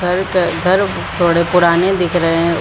घर के घर थोड़े पुराने दिख रहे हैं ।